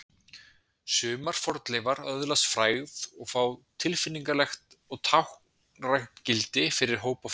Sumar fornleifar öðlast frægð og fá tilfinningalegt og táknrænt gildi fyrir hópa fólks.